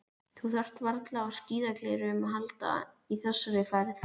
Þú þarft varla á skíðagleraugum að halda í þessari ferð.